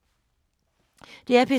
DR P3